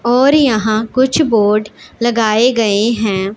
और यहां कुछ बोर्ड लगाए गए हैं।